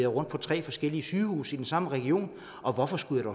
rundt på tre forskellige sygehuse i den samme region og hvorfor skal